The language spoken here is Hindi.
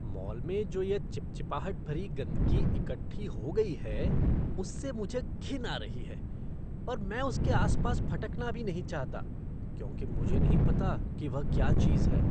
मॉल में जो यह चिपचिपाहट भरी गंदगी इकट्ठी हो गई है उससे मुझे घिन आ रही है और मैं उसके आस पास फटकना भी नहीं चाहता क्योंकि मुझे नहीं पता कि वह क्या चीज है।